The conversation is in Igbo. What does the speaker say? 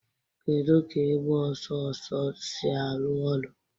Kedu ka ịgba ọsọ ọsọ ọsọ si arụ ọrụ?